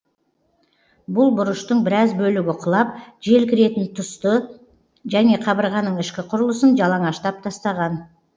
бұл бұрыштың біраз бөлігі құлап жел кіретін тұсты және қабырғаның ішкі құрылысын жалаңаштап тастаған